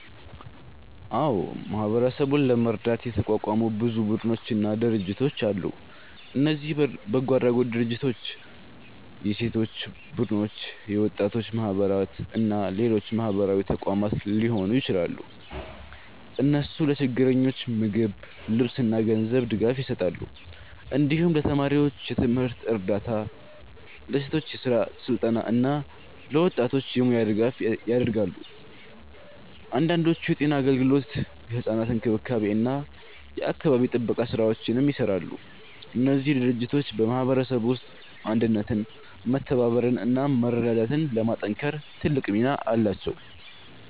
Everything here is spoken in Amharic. አዎ፣ ማህበረሰቡን ለመርዳት የተቋቋሙ ብዙ ቡድኖችና ድርጅቶች አሉ። እነዚህ በጎ አድራጎት ድርጅቶች፣ የሴቶች ቡድኖች፣ የወጣቶች ማህበራት እና ሌሎች ማህበራዊ ተቋማት ሊሆኑ ይችላሉ። እነሱ ለችግረኞች ምግብ፣ ልብስ እና ገንዘብ ድጋፍ ይሰጣሉ። እንዲሁም ለተማሪዎች የትምህርት እርዳታ፣ ለሴቶች የስራ ስልጠና እና ለወጣቶች የሙያ ድጋፍ ያደርጋሉ። አንዳንዶቹ የጤና አገልግሎት፣ የሕፃናት እንክብካቤ እና የአካባቢ ጥበቃ ስራዎችንም ይሰራሉ። እነዚህ ድርጅቶች በማህበረሰቡ ውስጥ አንድነትን፣ መተባበርን እና መረዳዳትን ለማጠናከር ትልቅ ሚና አላቸው።